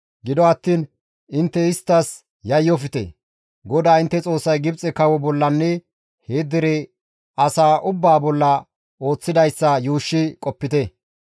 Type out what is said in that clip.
Gido attiin intte isttas yayyofte; GODAA intte Xoossay Gibxe kawo bollanne he dere asaa ubbaa bolla ooththidayssa yuushshi qopite.